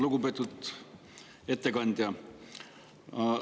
Lugupeetud ettekandja!